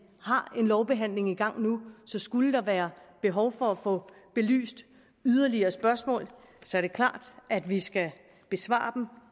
har en lovbehandling i gang nu så skulle der være behov for at få belyst yderligere spørgsmål er det klart at vi skal besvare dem